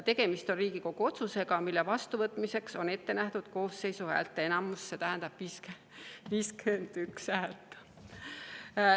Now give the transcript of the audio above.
Tegemist on Riigikogu otsusega, mille vastuvõtmiseks on ette nähtud koosseisu häälteenamus, mis tähendab 51 häält.